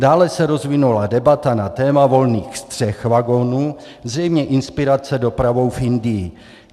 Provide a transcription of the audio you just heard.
Dále se rozvinula debata na téma volných střech vagonů, zřejmě inspirace dopravou v Indii.